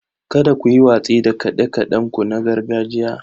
Kada ku yi watsi da kaɗe-kaɗenku na gargajiya.